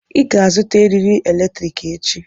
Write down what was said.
Ị ga-azụta eriri eletrik echi.